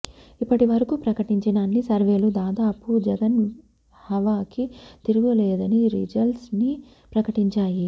ఇప్పటి వరకూ ప్రకటించిన అన్ని సర్వేలు దాదాపు జగన్ హవాకి తిరుగులేదనే రిజల్స్ ని ప్రకటించాయి